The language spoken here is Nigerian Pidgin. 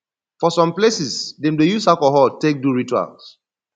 for some places dem dey use alcohol take do rituals